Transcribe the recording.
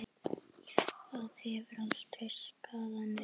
Það hefur aldrei skaðað neinn.